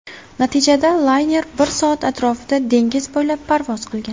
Natijada layner bir soat atrofida dengiz bo‘ylab parvoz qilgan.